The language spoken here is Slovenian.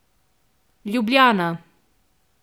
Ljubljana.